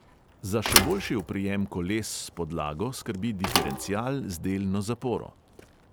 Za še boljši oprijem koles s podlago skrbi diferencial z delno zaporo.